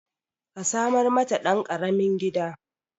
Ka samar mata ɗan ƙaramin gida